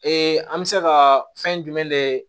an bɛ se ka fɛn jumɛn de ye